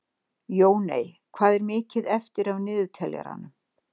Jóney, hvað er mikið eftir af niðurteljaranum?